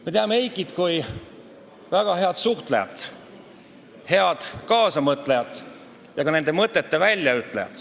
Me teame Eikit kui väga head suhtlejat, head kaasamõtlejat ja ka oma mõtete väljaütlejat.